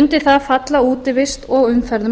undir það falla útivist og umferð um